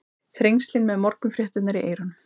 Þrengslin með morgunfréttirnar í eyrunum.